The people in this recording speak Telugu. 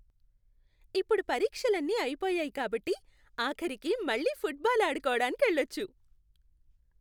ఇప్పుడు పరీక్షలన్నీ అయిపోయాయి కాబట్టి, ఆఖరికి మళ్ళీ ఫుట్బాల్ ఆడుకోవడానికెళ్ళచ్చు.